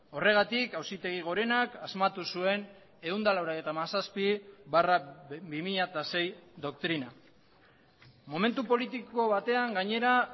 horregatik auzitegi gorenak asmatu zuen ehun eta laurogeita hamazazpi barra bi mila sei doktrina momentu politiko batean gainera